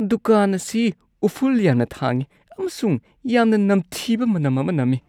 ꯗꯨꯀꯥꯟ ꯑꯁꯤ ꯎꯐꯨꯜ ꯌꯥꯝꯅ ꯊꯥꯡꯏ ꯑꯃꯁꯨꯡ ꯌꯥꯝꯅ ꯅꯝꯊꯤꯕ ꯃꯅꯝ ꯑꯃ ꯅꯝꯃꯤ꯫